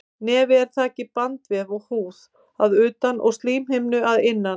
Nefið er þakið bandvef og húð að utan og slímhimnu að innan.